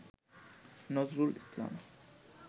Nazrul Islam